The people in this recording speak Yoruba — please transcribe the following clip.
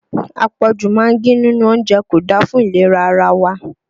Àpọ̀jù magí nínú oúnjẹ kò da fún ìlera ara wa